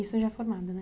Isso já formada, né?